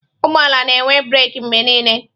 Ụgbọ ala na-enwe breeki mgbe niile.